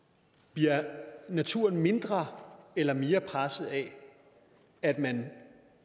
bliver naturen mindre eller mere presset af at man